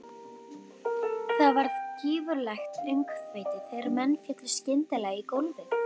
Það varð gífurlegt öngþveiti þegar menn féllu skyndilega í gólfið.